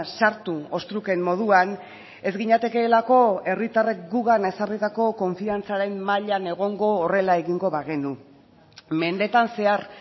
sartu ostruken moduan ez ginatekeelako herritarrek gugan ezarritako konfiantzaren mailan egongo horrela egingo bagenu mendetan zehar